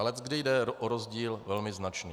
A leckdy jde o rozdíl velmi značný.